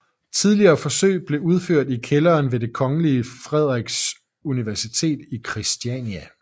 Tidlige forsøg blev udført i kælderen ved det Kongelige Frederiks Universitet i Kristiania